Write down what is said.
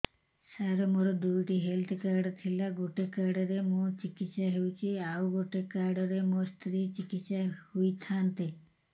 ସାର ମୋର ଦୁଇଟି health card ଥିଲା ଗୋଟେ କାର୍ଡ ରେ ମୁଁ ଚିକିତ୍ସା ହେଉଛି ଆଉ ଗୋଟେ କାର୍ଡ ରେ ମୋ ସ୍ତ୍ରୀ ଚିକିତ୍ସା ହୋଇଥାନ୍ତେ